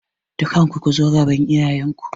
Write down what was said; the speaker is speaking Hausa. Dukkanku ku zo gaban iyayen ku!